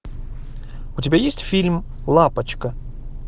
у тебя есть фильм лапочка